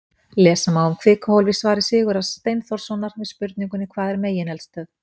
Lesa má um kvikuhólf í svari Sigurðar Steinþórssonar við spurningunni Hvað er megineldstöð?